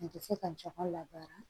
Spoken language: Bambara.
A tɛ se ka jama labaara